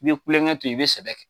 N ye kulonkɛ to ye i bɛ sɛbɛ kɛ.